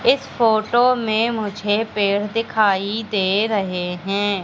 इस फोटो में मुझे पेड़ दिखाई दे रहे हैं।